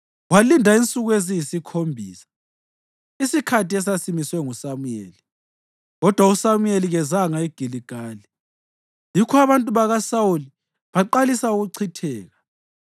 Walinda insuku eziyisikhombisa, isikhathi esasimiswe nguSamuyeli; kodwa uSamuyeli kezanga eGiligali; yikho abantu bakaSawuli baqalisa ukuchitheka.